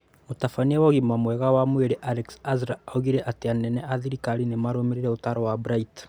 Mũtabania wa ũgima mwega wa mwĩrĩ Alex Azar oigire atĩ anene a thirikari nĩ maarũmĩrĩire ũtaaro wa Bright.